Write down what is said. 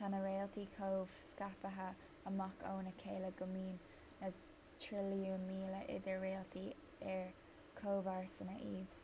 tá na réaltaí chomh scaipthe amach óna chéile go mbíonn na trilliúin míle idir réaltaí ar chomharsana iad